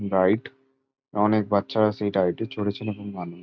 Ride অনেক বাচ্চারা সেই রাইড -এ চড়েছেন এবং মানু-- ।